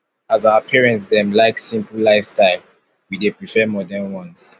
as our parents dem like simple lifestyle we dey prefer modern ones